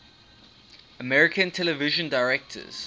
american television directors